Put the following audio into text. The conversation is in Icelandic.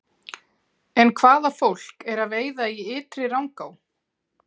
En hvaða fólk er að veiða í Ytri-Rangá?